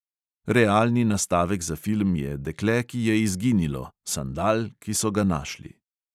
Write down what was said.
Realni nastavek za film je dekle, ki je izginilo, sandal, ki so ga našli ...